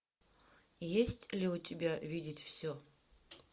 есть ли у тебя видеть все